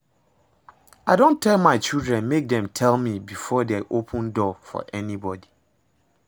I don tell my children make dem tell me before dey open door for anybody